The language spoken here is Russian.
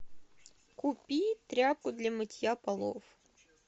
купи тряпку для мытья полов